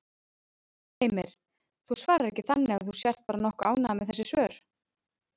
Heimir: Þú svarar ekki þannig að þú sért bara nokkuð ánægður með þessi svör?